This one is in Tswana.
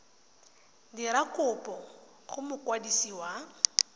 dira kopo go mokwadisi wa